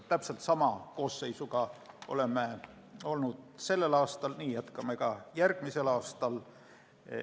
Täpselt sama koosseisuga oleme olnud sellel aastal ja jätkame ka järgmisel aastal.